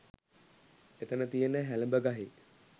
එතන තියෙන හැලඹ ගහේ